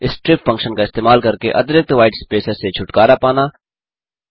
3strip function का इस्तेमाल करके अतिरिक्त व्हाईट स्पेसेस से छुटकारा पाना